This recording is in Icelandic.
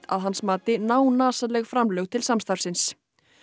að hans mati framlög til samstarfsins